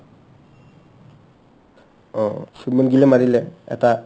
অ, শুভমান গিল মাৰিলে এটা